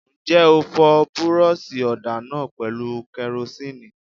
Ǹjẹ́ o fọ búrọ́ṣì ọ̀dà náà pẹ̀lú kẹrosínìì?